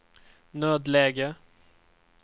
nödläge